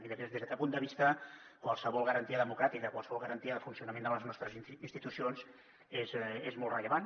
i des d’aquest punt de vista qualsevol garantia democràtica qualsevol garantia de funcionament de les nostres institucions és molt rellevant